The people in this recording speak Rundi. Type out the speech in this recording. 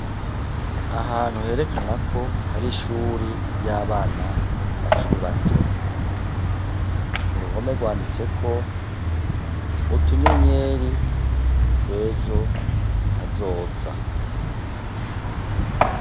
Ahantu herekana ko hari ishuri ry' abana bakiri bato, uruhome gwanditseko utunyenyeri twejo hazoza.